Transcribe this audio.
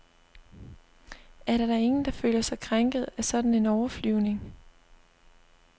Er der da ingen, der føler sig krænket af sådan en overflyvning?